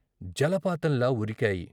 జలపాతంలా ఉరికాయి.